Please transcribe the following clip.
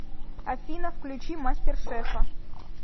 афина включи мастер шефа